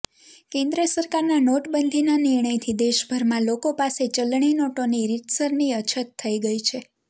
કેન્દ્ર સરકારના નોટબંધીના નિર્ણયથી દેશભરમાં લોકો પાસે ચલણી નોટોની રીતસરની અછત થઇ ગઇ છે